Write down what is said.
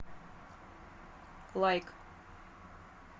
лайк